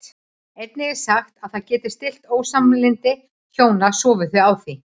Einnig er sagt að það geti stillt ósamlyndi hjóna sofi þau á því.